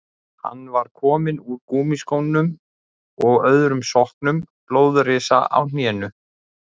Hann var kominn úr gúmmískónum og öðrum sokknum, blóðrisa á hnénu.